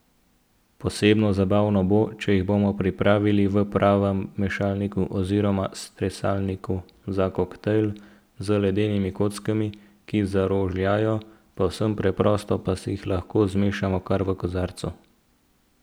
Posebno zabavno bo, če jih bomo pripravili v pravem mešalniku oziroma stresalniku za koktajl, z ledenimi kockami, ki zarožljajo, povsem preprosto pa si jih lahko zmešamo kar v kozarcu.